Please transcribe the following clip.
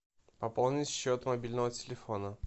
пополнить счет мобильного телефона